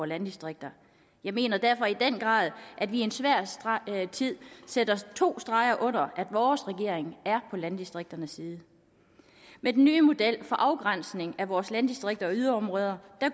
landdistrikter jeg mener derfor i den grad at vi i en svær tid sætter to streger under at vores regering er på landdistrikternes side med den nye model for afgrænsning af vores landdistrikter og yderområder